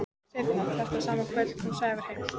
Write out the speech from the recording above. Seinna þetta sama kvöld kom Sævar heim.